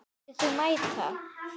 Myndir þú mæta?